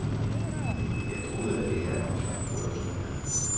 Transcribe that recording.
Jeg troede, at det her var en slags bryllupsrejse.